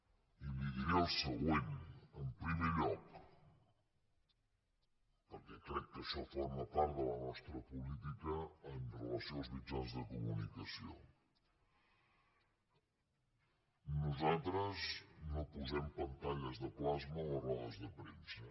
i li diré el següent en primer lloc perquè crec que això forma part de la nostra política amb relació als mitjans de comunicació nosaltres no posem pantalles de plas·ma a les rodes de premsa